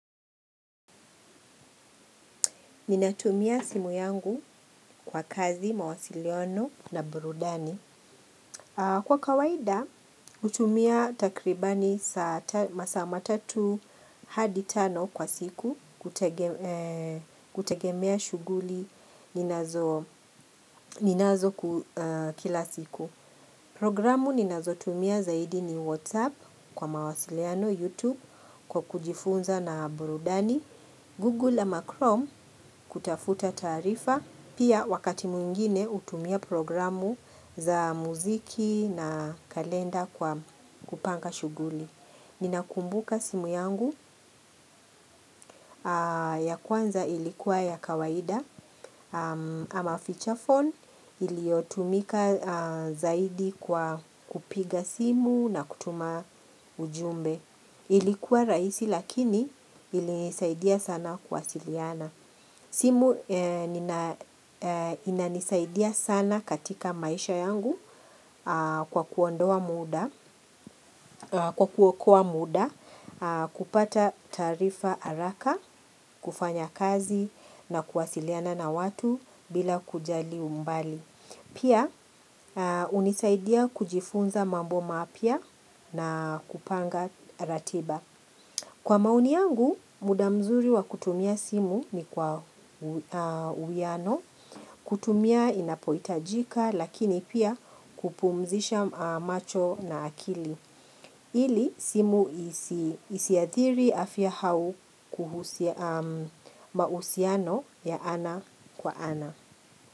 Ninatumia simu yangu kwa kazi mawasiliano na burudani. Kwa kawaida hutumia takribani masaa matatu hadi tano kwa siku kutegemea shughuli ninazo ninazo kila siku. Programu ninazotumia zaidi ni Whatsapp kwa mawasiliano Youtube kwa kujifunza na burudani Google ama Chrome kutafuta taarifa pia wakati mwingine hutumia programu za muziki na kalenda kwa kupanga shughuli. Ninakumbuka simu yangu ya kwanza ilikuwa ya kawaida ama feature phone iliotumika zaidi kwa kupiga simu na kutuma ujumbe. Ilikuwa rahisi lakini ilinisaidia sana kuwasiliana. Inanisaidia sana katika maisha yangu kwa kuondoa muda kwa kuokoa muda kupata taarifa haraka, kufanya kazi na kuwasiliana na watu bila kujali umbali. Pia hunisaidia kujifunza mambo mapya na kupanga ratiba. Kwa maoni yangu muda mzuri wa kutumia simu ni kwa uwiano, kutumia inapohitajika lakini pia kupumzisha macho na akili. Ili simu isiathiri afya au kuhusia mahusiano ya ana kwa ana.